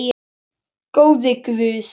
Góði Guð.